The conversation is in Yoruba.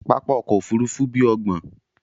Pápá òkò òfúrùfú bí óògbọ́n